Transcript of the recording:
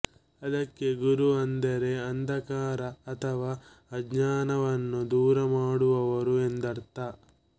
ಅದಕ್ಕೆ ಗುರು ಅಂದರೆ ಅಂಧಕಾರ ಅಥವಾ ಅಜ್ಞಾನವನ್ನು ದೂರ ಮಾಡುವವರು ಎಂದರ್ಥ